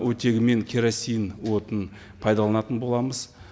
оттегі мен керосин отының пайдаланатын боламыз